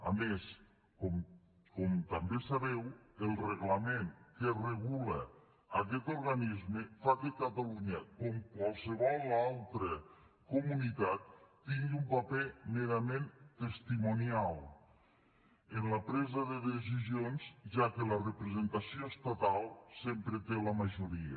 a més com també sabeu el reglament que regula aquest organisme fa que catalunya com qualsevol altra comunitat tingui un paper merament testimonial en la presa de decisions ja que la representació estatal sempre té la majoria